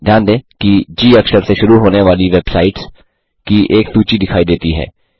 ध्यान दें कि जी अक्षर से शुरू होने वाली वेबसाइट्स की एक सूची दिखाई देती है